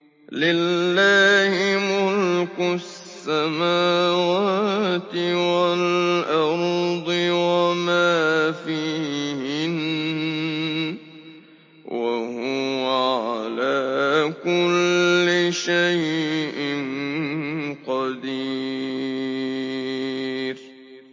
لِلَّهِ مُلْكُ السَّمَاوَاتِ وَالْأَرْضِ وَمَا فِيهِنَّ ۚ وَهُوَ عَلَىٰ كُلِّ شَيْءٍ قَدِيرٌ